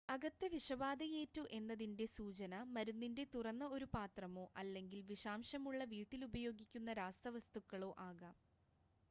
അകത്ത് വിഷബാധയേറ്റു എന്നതിൻ്റെ സൂചന മരുന്നിൻ്റെ തുറന്ന ഒരു പാത്രമോ അല്ലെങ്കിൽ വിഷാംശമുള്ള വീട്ടിലുപയോഗിക്കുന്ന രാസവസ്തുക്കളോ ആകാം